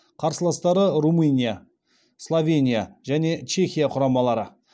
қарсыластары румыния словения және чехия құрамалары